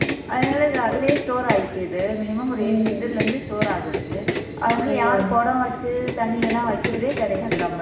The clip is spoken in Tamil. அதனாலே இது அதிலயே store ஆயிக்குது minimum ஒரு eight liter ல இருந்து store ஆகுது அதனால யாரு குடம் வச்சு தண்ணியெல்லாம் வைக்கிறதே கிடையாது நம்ம